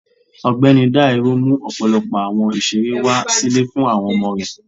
Ọgbẹni Dairo mú ọpọlọpọ awọn ìserẹ́ wa si ilé fún awọn ọmọ rẹ